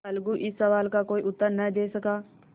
अलगू इस सवाल का कोई उत्तर न दे सका